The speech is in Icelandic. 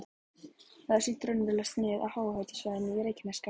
Þar er sýnt raunverulegt snið af háhitasvæðunum á Reykjanesskaga.